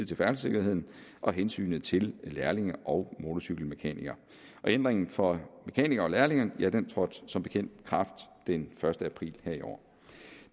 til færdselssikkerheden og hensynet til lærlinge og motorcykelmekanikere ændringen for mekanikere og lærlinge trådte som bekendt i kraft den første april her i år